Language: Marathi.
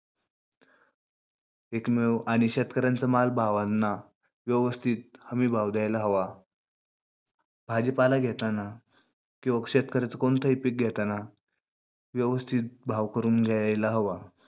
पिक मिळवू. आणि शेतकऱ्यांचा माल भावांना व्यवस्थित हमी भाव द्यायला हवा. भाजीपाला घेतांना किंवा शेतकऱ्यांचा कोणतही पिक घेतांना व्यवस्थित भाव करून घ्यायला हवा.